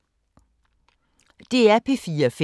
DR P4 Fælles